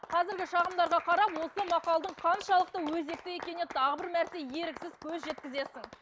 қазіргі шағымдарға қарап осы мақалдың қаншалықты өзекті екеніне тағы бір мәрте еріксіз көз жеткізесің